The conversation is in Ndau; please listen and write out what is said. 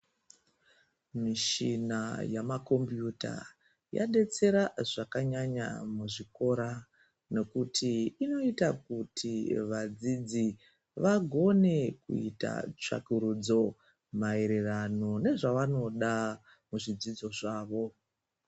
Mishina yamakombiyuta yadetsera zvakanyanya muzvikora nokuti inoita kuti vadzidzi vagone kuita tsvakurudzo maererano nezvavanoda muzvidzidzo zvavo.